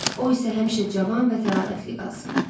O isə həmişə cavan və təravətli qalsın.